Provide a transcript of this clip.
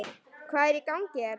Hvað er í gangi hérna?